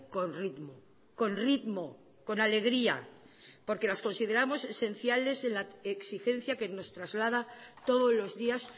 con ritmo con ritmo con alegría porque las consideramos esenciales en la exigencia que nos traslada todos los días